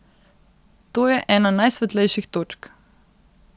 To je ena najsvetlejših točk.